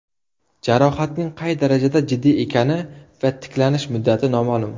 Jarohatning qay daraja jiddiy ekani va tiklanish muddati noma’lum.